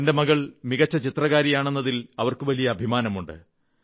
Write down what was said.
തന്റെ മകൾ മികച്ച ചിത്രകാരിയാണെന്നതിൽ അവർക്ക് വലിയ അഭിമാനമാണ്